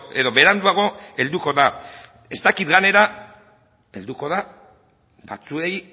edo beranduago helduko da ez dakit denei helduko den batzuei